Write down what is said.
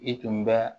I tun bɛ